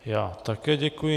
Já také děkuji.